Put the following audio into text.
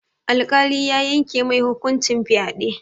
Alƙali ya yanke mai hukuncin fyaɗe.